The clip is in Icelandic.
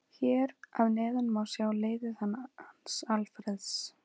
Hér að neðan má sjá liðið hans Alfreðs.